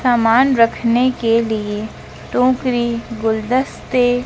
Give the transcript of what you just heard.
सामान रखने के लिए टोकरी गुलदस्ते--